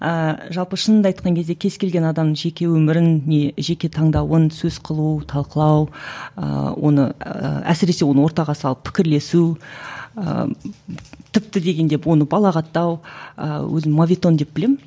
ыыы жалпы шынымды айтқан кезде кез келген адамның жеке өмірін не жеке таңдауын сөз қылу талқылау ыыы оны әсіресе оны ортаға салып пікірлесу ыыы тіпті дегенде оны балағаттау ы өзім мовитон деп білемін